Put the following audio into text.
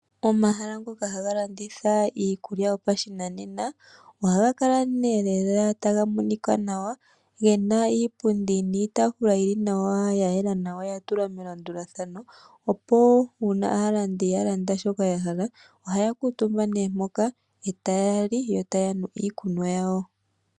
Omahala ngoka haga landitha iikulya yopashinanena. Oha ga kala nee lela taga monika nawa, gena iipundi niitaafula yili nawa ,ya yela nawa, ya tulwa melandulathano, opo uuna aalandi ya landa shoka ya hala oha ya kuutumba nee mpoka ee taya li yo taya nu iikunwa yawo.